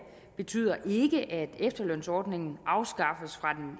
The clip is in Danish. betyder ikke at efterlønsordningen afskaffes fra